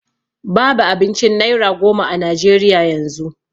Babu abincin naira goma a najeriya yanzu